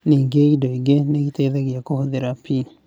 Ningĩ indo ingĩ nĩ iteithagia kũhũthĩra P.